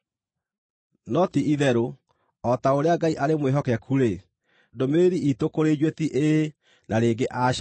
No ti-itherũ, o ta ũrĩa Ngai arĩ mwĩhokeku-rĩ, ndũmĩrĩri iitũ kũrĩ inyuĩ ti “Ĩĩ” na rĩngĩ “Aca.”